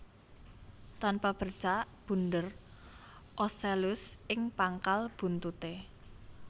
Tanpa bercak bunder ocellus ing pangkal buntuté